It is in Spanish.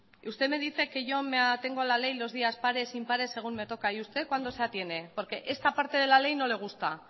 usted me dice que yo me atengo a la ley los días pares impares según me toca y usted cuándo se atiene porque esta parte de la ley no le gusta